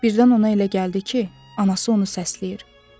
Birdən ona elə gəldi ki, anası onu səsləyir.